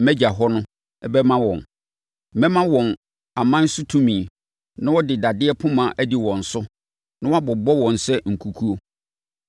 mʼAgya hɔ no bɛma wɔn. Mɛma wɔn aman so tumi na wɔde dadeɛ poma adi wɔn so na wɔabobɔ wɔn sɛ nkukuo.